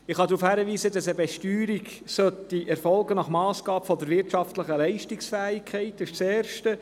Ich kann darauf hinweisen, dass eine Besteuerung nach Massgabe der wirtschaftlichen Leistungsfähigkeit erfolgen sollte.